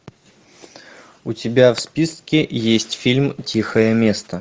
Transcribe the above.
у тебя в списке есть фильм тихое место